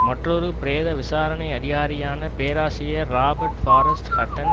மற்றொரு பிரேத விசாரணை அதிகாரியான பேராசிரியர் ராபர்ட் பாரஸ்ட் ஹட்டன்